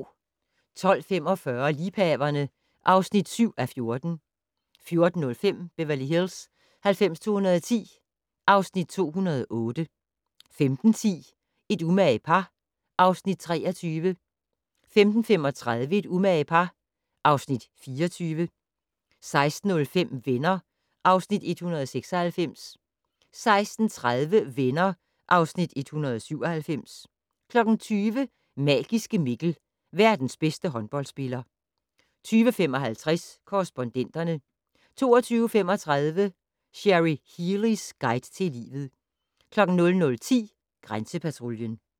12:45: Liebhaverne (7:14) 14:05: Beverly Hills 90210 (Afs. 208) 15:10: Et umage par (Afs. 23) 15:35: Et umage par (Afs. 24) 16:05: Venner (Afs. 196) 16:30: Venner (Afs. 197) 20:00: Magiske Mikkel - verdens bedste håndboldspiller 20:55: Korrespondenterne 22:35: Cherry Healeys guide til livet 00:10: Grænsepatruljen